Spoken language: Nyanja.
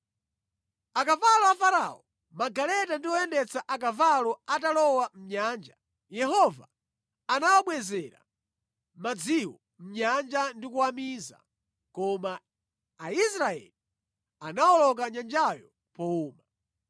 Akavalo a Farao, magaleta ndi oyendetsa akavalo atalowa mʼnyanja, Yehova anawabwezera madziwo mʼnyanja ndi kuwamiza, koma Aisraeli anawoloka nyanjayo powuma.